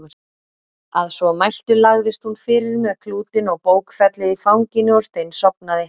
Að svo mæltu lagðist hún fyrir með klútinn og bókfellið í fanginu og steinsofnaði.